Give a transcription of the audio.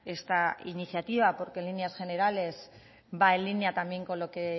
esta iniciativa porque en líneas generales va en línea también con lo que